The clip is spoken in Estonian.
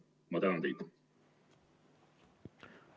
Ma tänan teid!